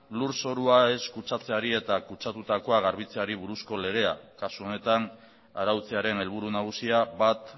lurzorua ez kutsatzeari eta kutsatutakoa garbitzeari buruzko legea kasu honetan arautzearen helburu nagusia bat